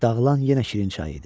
Dağılan yenə şirin çay idi.